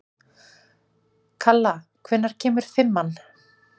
Kalla, hvenær kemur fimman?